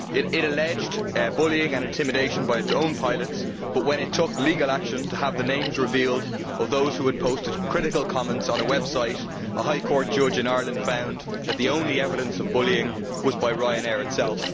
It alleged bullying and intimidation by its own pilots but when it took legal action to have the names revealed of those who had posted critical comments on a website, a High Court judge in Ireland found that the only evidence of bullying was by Ryanair itself.